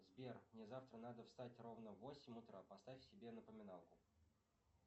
сбер мне завтра надо встать ровно в восемь утра поставь себе напоминалку